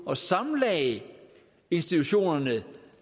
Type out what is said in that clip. og sammenlagde institutionerne